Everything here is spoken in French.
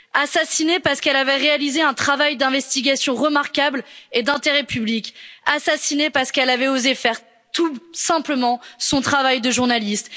assassinée parce qu'elle avait réalisé un travail d'investigation remarquable et d'intérêt public assassinée parce qu'elle avait osé faire tout simplement son travail de journaliste.